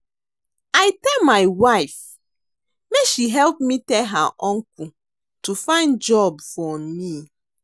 I tell my wife make she help me tell her uncle to find job for me